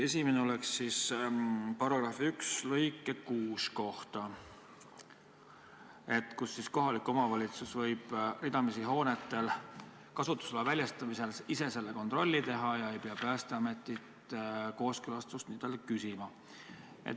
Esimene on § 1 lõike 6 kohta, kus on öeldud, et kohalik omavalitsus võib ridamisi hoonete kasutusloa väljastamisel ise selle kontrolli teha ega pea Päästeametilt kooskõlastust küsima.